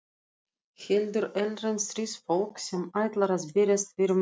Heldur erlent stríðsfólk sem ætlar að berjast fyrir mála.